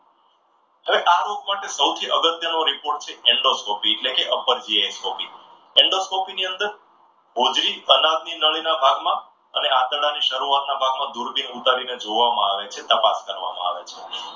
અને આ રોગ માટે સૌથી અગત્યનું report છે એન્ડોસ્કોપી. એન્ડોસ્કોપી ની અંદર હોજરી અનાવલી નળીના ભાગમાં અને આંતરડાની શરૂઆતના ભાગમાં દૂરબીન ઉતારીને જોવામાં આવે છે, તપાસ કરવામાં આવે છે.